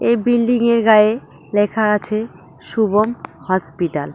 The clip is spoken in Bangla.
এই বিল্ডিংয়ের গায়ে লেখা আছে শুভম হসপিটাল ।